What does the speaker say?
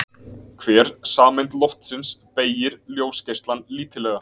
Hver sameind loftsins beygir ljósgeislann lítillega.